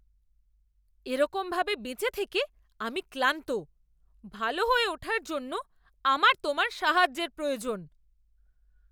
এরকম ভাবে বেঁচে থেকে আমি ক্লান্ত! ভালো হয়ে ওঠার জন্য আমার তোমার সাহায্যের প্রয়োজন!